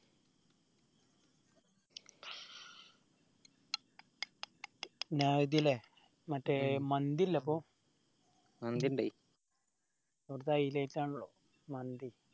നഹ്ദിയല്ലേ മറ്റെ ഉം മന്തിയില്ലെ അപ്പൊ മന്തിയിണ്ട് അവിടുത്തെ highlight ആണല്ലോ മന്തി